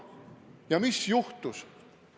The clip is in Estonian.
Ja mis juhtus?